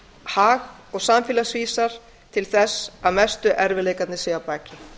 hag og samfélagsvísar til þess að mestu erfiðleikarnir séu að baki